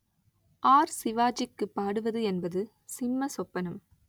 R சிவாஜிக்கு பாடுவது என்பது சிம்ம சொப்பனம்